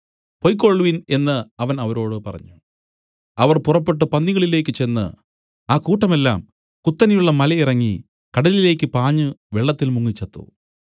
പൊയ്ക്കൊൾവിൻ എന്നു അവൻ അവരോട് പറഞ്ഞു അവർ പുറപ്പെട്ടു പന്നികളിലേക്ക് ചെന്ന് ആ കൂട്ടം എല്ലാം കുത്തനെയുള്ള മലയിറങ്ങി കടലിലേക്ക് പാഞ്ഞു വെള്ളത്തിൽ മുങ്ങി ചത്തു